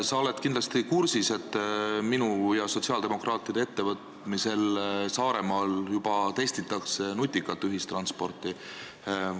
Sa oled kindlasti kursis, et minu ja sotsiaaldemokraatide ettevõtmisel Saaremaal juba testitakse nutikat ühistransporti.